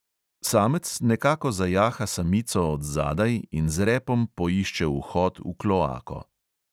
Samec nekako zajaha samico od zadaj in z repom poišče vhod v kloako.